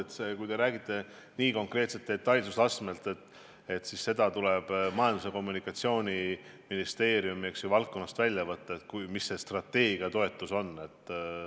Ma usun, et kui te küsite nii konkreetselt, nii detailselt, siis tuleb Majandus- ja Kommunikatsiooniministeeriumi paberitest välja võtta, kui suur selle strateegia toetus on.